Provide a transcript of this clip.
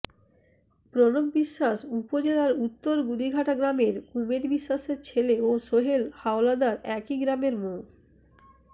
প্রণব বিশ্বাস উপজেলার উত্তর গুদিঘাটা গ্রামের কুমেদ বিশ্বাসের ছেলে ও সোহেল হাওলাদার একই গ্রামের মো